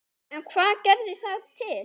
En hvað gerði það til?